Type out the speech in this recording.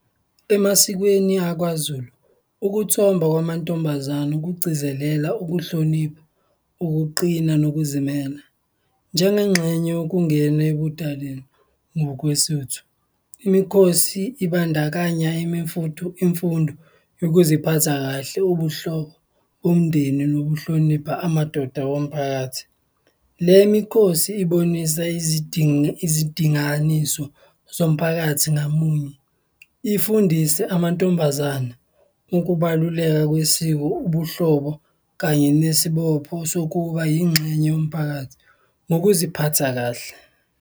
Emasikweni akwaZulu, ukuthomba kwamantombazane kugcizelela ukuhlonipha, ukuqina nokuzimela njengengxenye yokungena ebudaleni. NgokweSotho, imikhosi ibandakanya imfundo yokuziphatha kahle, ubuhlobo bomndeni nokuhlonipha amadoda womphakathi. Lemikhosi ibonisa izidinganiso zomphakathi ngamunye, ifundise amantombazana ukubaluleka kwesiko, ubuhlobo kanye nesibopho sokuba yingxenye yomphakathi nokuziphatha kahle.